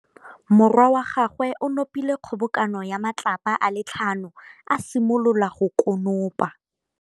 Morwa wa gagwe o nopile kgobokanô ya matlapa a le tlhano, a simolola go konopa.